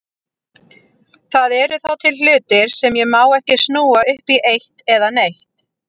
Það eru þá til hlutir sem ég má ekki snúa upp í eitt eða neitt.